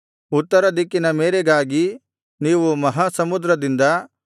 ಉತ್ತರ ದಿಕ್ಕಿನ ಮೇರೆಗಾಗಿ ನೀವು ಮಹಾಸಮುದ್ರದಿಂದ